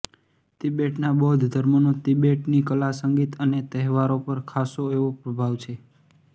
Tibetan બૌદ્ધ ધર્મનો તિબેટની કલા સંગીત અને તહેવારો પર ખાસો એવો પ્રભાવ છે